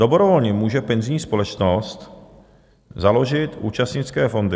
Dobrovolně může penzijní společnost založit účastnické fondy.